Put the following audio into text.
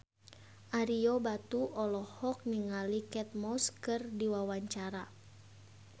Ario Batu olohok ningali Kate Moss keur diwawancara